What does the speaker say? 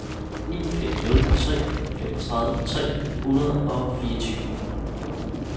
ni fem nul tre femogtredive tre hundrede og fireogtyve